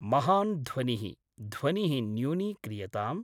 महान् ध्वनिः, ध्वनिः न्यूनीक्रियताम्।